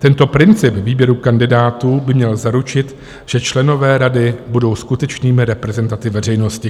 Tento princip výběru kandidátů by měl zaručit, že členové rady budou skutečnými reprezentanty veřejnosti."